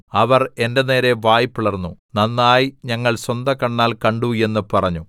അവർ എന്റെ നേരെ വായ് പിളർന്നു നന്നായി ഞങ്ങൾ സ്വന്തകണ്ണാൽ കണ്ടു എന്ന് പറഞ്ഞു